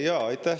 Aitäh!